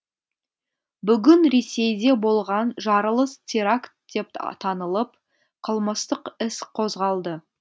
бүгін ресейде болған жарылыс теракт деп танылып қылмыстық іс қозғалды